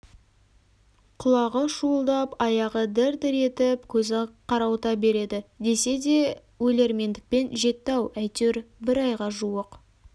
құлағы шуылдап аяғы дір-дір етіп көзі қарауыта береді десе де өлермендікпен жетті-ау әйтеуір бір айға жуық